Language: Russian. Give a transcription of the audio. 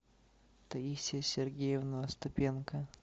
таисия сергеевна остапенко